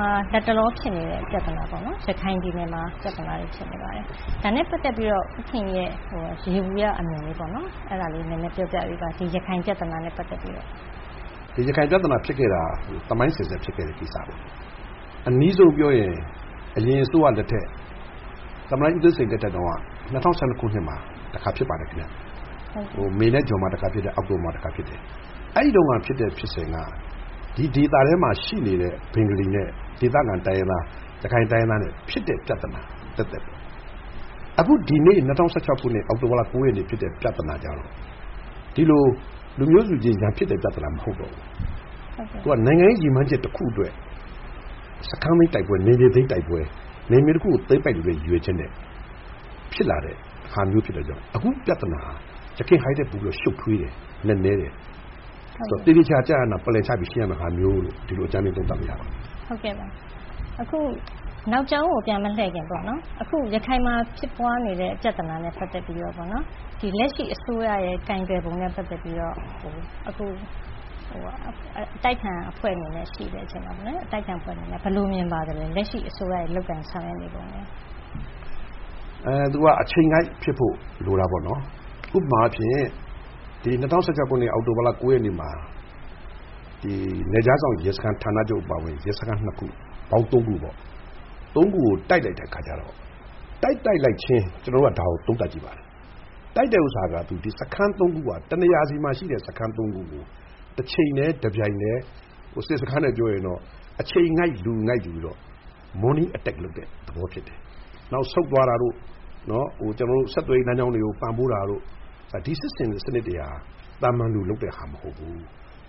မှာ လက်တလောဖြစ်နေတဲ့ ပြဿနာပေါ့နော် ရခိုင်ပြည်နယ်မှာ ပြဿနာတွေဖြစ်နေပါတယ်။ ဒါနဲ့ ပတ်သက်ပြီးတော့ ဦးခင်ရီရဲ့ ယေဘုယျအမြင်လေးပေါ့နော် အဲဒါလေးနည်းနည်းပြောပြပေးပါ။ ဒီရခိုင်ပြဿနာနဲ့ ပတ်သက်ပြီးတော့ ဦးခင်ရီ။ ။ ရခိုင်ပြဿနာဖြစ်ခဲ့တာ သမိုင်းအစဉ်အဆက်ဖြစ်ခဲ့တဲ့ကိစ္စပါ။ အနီးဆုံးပြောရင် အရင်အစိုးရလက်ထက် သမ္မတကြီးဦးသိန်းစိန်လက်ထက်က ၂၀၁၂ ခုနှစ်မှာ ဖြစ်ပါတယ်ခင်ဗျ။ မေ၊ ဇွန်မှာ တခါဖြစ်တယ် အောက်တိုဘာမှာ တခါဖြစ်တယ်။ အဲဒီတုန်းကဖြစ်တဲ့ ဖြစ်စဉ်က ဒီဒေသထဲမှာရှိနေတဲ့ ဘင်္ဂါလီနဲ့ ဒေသခံ ရခိုင်တိုင်းရင်းသား နဲ့ ဖြစ်တဲ့ ပြဿနာ သပ်သပ်ပေါ့။ အခုဒီနေ့ ၂၀၁၆ ခုနှစ် အောက်တိုဘာလ ၉ ရက်နေ့တုန်းက ဖြစ်သွားတဲ့ ပြဿနာကျတော့ ဒီလို လူမျိုးစုချင်းရန်ဖြစ်တဲ့ ပြဿနာမဟုတ်တော့ဘူး။ သူက နိုင်ငံရေးရည်မှန်းချက်တခုအတွက် စခန်းသိမ်းတိုက်ပွဲ ၊ နယ်မြေသိမ်းတိုက်ပွဲ ၊ နယ်မြေတခုကို သိမ်းပိုက်လိုတဲ့ ရည်ရွယ်ချက်နဲ့ ဖြစ်လာတဲ့ ဟာမျိုးဖြစ်တဲ့အတွက်ကြောင့် အခုပြဿနာက ယခင်ဟာထက် ပိုပြီးတော့ ရှုပ်ထွေးတယ်၊ နက်နဲတယ်။ သေသေချာချာ Plan ချပြီးရှင်းရမယ့်ဟာမျိုးလို့ ဒီလိုအကြမ်းဖျင်းသုံးသပ်လို့ရပါတယ်။ မေး။ ။ အခုနောက်ကြောင်းကို ပြန်မလှည့်ခင်ပေါ့နော် အခုရခိုင်မှာ ဖြစ်ပွားနေတဲ့ ဲ့ ပြဿနာနဲ့ ပတ်သက်ပြီးတော့ ဒီလက်ရှိအစိုးရရဲ့ ကိုင်တွယ်ပုံနဲ့ ပတ်သက်ပြီးတော့ အခုအတိုက်အခံအဖွဲ့အနေနဲ့ ရှိတဲ့အချိန်မှာ ဘယ်လိုမြင်ပါသလဲ ဒီလက်ရှိအစိုးရရဲ့လုပ်ကိုင်ဆောင်ရွက်နေပုံကို။ ဦးခင်ရီ။ ။သူက အချိန်ကိုက်ဖြစ်ဖို့ လိုတာပေါ့နော် ၊ ဥပမာအားဖြင့် ဒီ ၂၀၁၆ခုနှစ် အောက်တိုဘာလ ၉ ရက်နေ့မှာ နယ်ခြားစောင့်ရဲစခန်း ဌာနချုပ်အပါအဝင် ရဲစခန်း ၂ ခု ၊ အားလုံးပေါင်း ၃ ခုပေါ့နော် အဲဒီ ၃ ခုကိုတိုက်လိုက်တဲ့အခါကျတော့ တိုက်ပြီးချင်း ကျနော်တို့ ဒါကိုသုံးသပ်ကြည့်ပါတယ်။ ဒီတိုက်တာက စခန်း ၃ ခုက တနေရာစီမှာ ရှိတဲ့ စခန်း၃ ခုကို တချိန်တည်း၊ တပြိုင်တည်း attack လုပ်တဲ့ သဘောဖြစ်တယ်။ နောက်ဆုတ်သွားတာတို့ ကျနော်တို့ ဆက်သွယ်ရေးလမ်းကျောင်းတွေကို ပံ့ပိုးတာတို့ ဒီစစ်ဆင်တဲ့ စနစ်တွေက သာမန်လူလုပ်တဲ့ဟာမဟုတ်ဘူး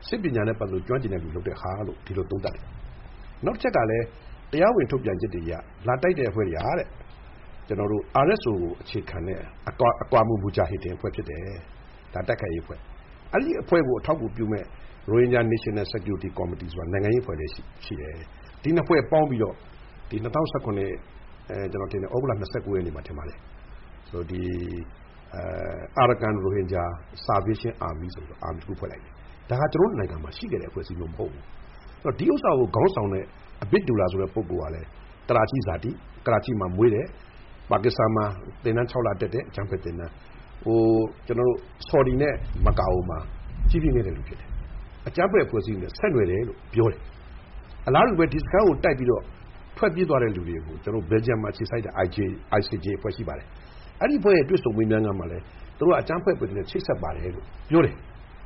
စစ်ပညာနဲ့ ကျွမ်းကျင်တဲ့လူလုပ်တဲ့ဟာလို့ ကျနော်တို့ သုံးသပ်တယ်။ နောက်တချက်ကလည်း တရားဝင်ထုတ်ပြန်ချက်တွေအရ RSO ကိုအခြေခံတဲ့အဖွဲ့ဖြစ်တယ် ဒါကတိုက်ခိုက်ရေးအဖွဲ့ ။ အဲဒီအဖွဲ့ကို အထောက်အကူပြုမယ့် Rohingya National Security Committee ဆိုတဲ့ နိုင်ငံရေးအဖွဲ့လည်းရှိတယ်။ ဒီ ၂ ဖွဲ့ပေါင်းပြီးတော့ ဒီ ကျနော်ထင်ပါတယ် သြဂုတ်လ ၂၉ ရက်နေ့လို့ထင်ပါတယ်Arakan Rohingya Salvation Army ဆိုပြီးတော့ တခုဖွဲ့လိုက်တယ်။ ဒါကကျနော်တို့ နိုင်ငံမှာ ရှိခဲ့တဲ့ အဖွဲ့အစည်းမျိုးမဟုတ်ဘူး။ ဆိုတော့ ဒီဟာကိုခေါင်းဆောင်တဲ့ အဘစ်ဒူရာဆိုတဲ့သူကလည်း ကရာချီဇာတိ၊ အဲဒီမှာမွေးတယ်။ Pakistan မှာသင်တန်း ၆ လတက်တယ် အကြမ်းဖက်သင်တန်း။ ဆော်ဒီနဲ့ မက္ကာမှာ ကြီးပြင်းခဲ့သူဖြစ်တယ်။ အကြမ်းဖက်အဖွဲ့အစည်းတွေနဲ့ ဆက်နွယ်တယ်လို့ပြောတယ်။ အလားတူပဲ ဒီစခန်းကိုတိုက်ပြီးတော့ ထွက်ပြေးသွားတဲ့လူတွေကို ကျနော်တို့ Belgium မှာအခြေစိုက်တဲ့ ICG အဖွဲ့ရှိပါတယ်။ အဲဒီအဖွဲ့ရဲ့ တွေ့ဆုံမေးမြန်းခန်းမှာလည်း သူတို့က အကြမ်းဖတ်တဲ့လူနေနဲ့ ချိတ်ဆက်ပါတယ်လို့ပြောတယ်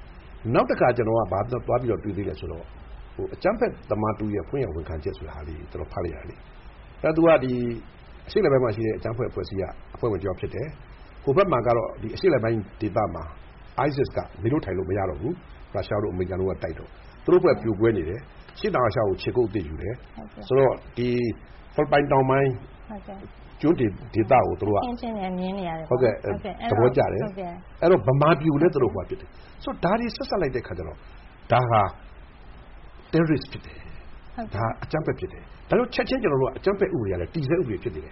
။ နောက်တခါကျနော်က ဘာသွားတွေ့သေးသလဲဆိုတော့ အကြမ်းဖက်သမားတဦးရဲ့ ဖွင့်ဟဝန်ခံချက်ဆိုတာကို ကျနော်ဖတ်လိုက်ရတယ်လေ အဲဒါသူက အရှေ့အလယ်ပိုင်းမှာရှိတဲ့ အကြမ်းဖက်အဖွဲ့အစည်းက အဖွဲ့ဝင်တယောက်ဖြစ်တယ်။ ဟိုဘက်မှာကတော့ ဒီအရှေ့အလယ်ပိုင်းဒေသမှာ ISIS ကနေလို့ထိုင်လို့မရတော့ဘူး Russia တို့ အမေရိကန်တို့ကတိုက်တော့ သူတို့အဖွဲ့ ပြိုကွဲနေတယ်။ ဆိုတော့ အရှေ့တောင်အာရှ ကိုခြေကုတ်အသစ်ယူတယ်။ ဖိလစ်ပိုင်တောင်ပိုင်း ကျွန်းဒေသကိုသူတို့က သဘောကျတယ်၊ မြန်မာပြည်ကိုလည်း သူတို့သဘောကျတယ်။ ဒါတွေကို ဆက်စပ်လိုက်တဲ့အခါကျတော့ ဒါဟာ Terrorist ဖြစ်တယ်၊ အကြမ်းဖက် ဖြစ်တယ်။ ကျနော်တို့ ချက်ချင်း အကြမ်းဖက်ဥပဒေကလည်း တည်ဆဲဥပဒေဖြစ်တော့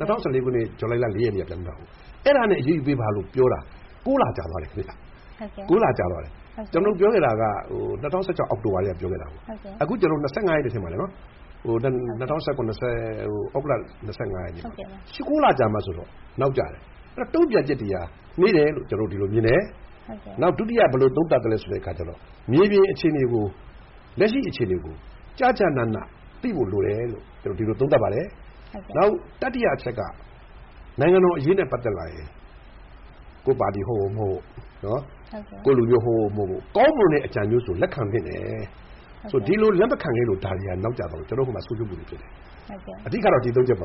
၂၀၁၄ ခုနှစ် ဇူလိုင်လ ၄ ရက်နေ့က ပြဌာန်းတာကို အဲဒါနဲ့ အရေးယူပေးပါလို့ပြောတာ ၉ လကြာသွားတယ်ခင်ဗျ။ ကျနော်တို့ ပြောခဲ့တာက ၂၀၁၆ အောက်တိုဘာကတည်းက ပြောခဲ့တာ အခုကျနော်တို့ ၂၀၁၇ သြဂုတ်လ ၂၅ ရက်နေ့ မှဆိုတော့ ၉ လာကြာတော့ နောက်ကျတယ်။ အဲဒီတော့ တုံ့ပြန်ချက်တွေက နှေးတယ်လို့ ကျနေ်ာတို့အဲလိုမြင်တယ်။ နောက်ဒုတိယ ဘယ်လိုသုံးသပ်သလဲဆိုတဲ့အခါကျတော့ မြေပြင်လက်ရှိအခြေအနေကို ကျကျနန သိဖို့လိုတယ်လို့ သုံးသပ်ပါတယ်။ နောက် တတိယအချက်က နိုင်ငံတော်အရေးနဲ့ ပတ်သက်လာရင် ကိုယ့်ပါတီ ဟုတ်ဟုတ်မဟုတ်ဟုတ် ၊ ကိုယ့်လူမျိုး ဟုတ်ဟုတ်မဟုတ်ဟုတ် ကောင်းမွန်တဲ့အကြံမျိုးဆိုရင် လက်ခံသင့်တယ် ၊ ဆိုတော့ ဒီလိုလက်မခံခဲ့လို့ ကျနော်တို့နောက်ကျသွားတာ နောက်ပြီး ဆုံးရှုံးမှုတွေဖြစ်တယ် ။အဓိကတော့ ဒီ ၃ ချက်ပါ